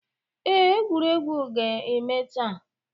Ee, egwuregwu a ga-eme taa.